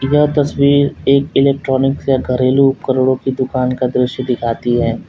यह तस्वीर एक इलेक्ट्रॉनिक या घरेलू उपकरणों की दुकान का दृश्य दिखाती है।